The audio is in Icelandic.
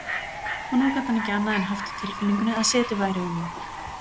Og nú gat hann ekki annað en haft á tilfinningunni að setið væri um hann.